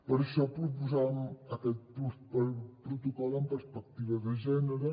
per això proposàvem aquest protocol amb perspectiva de gènere